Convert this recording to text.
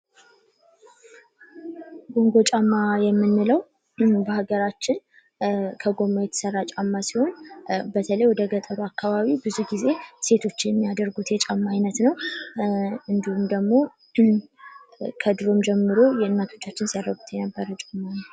ኮንጎ ጫማ የምንለው በሀገራችን ከጎማ የተሰራ ጫማ ሲሆን በተለይ ወደ ገጠር አካባቢ ብዙ ጊዜ ሴቶች የሚያደርጉት የጫማ አይነት ነው። እንዲሁም ደግሞ ከድሮም ጀምሮ የእናቶቻችን ሲያደርጉት የነበረ ጫማ ነው።